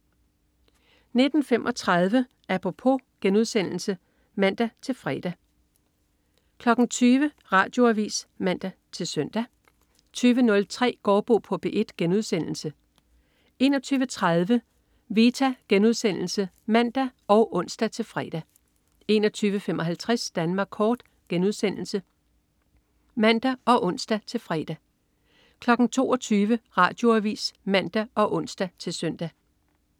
19.35 Apropos* (man-fre) 20.00 Radioavis (man-søn) 20.03 Gaardbo på P1* 21.30 Vita* (man og ons-fre) 21.55 Danmark kort* (man og ons-fre) 22.00 Radioavis (man og ons-søn)